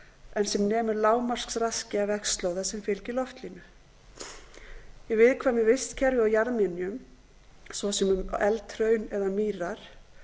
en sem nemur lágmarksraski af vegslóða sem fylgir loftlínu í viðkvæmu vistkerfi og jarðminjum svo sem um eldhraun eða mýrar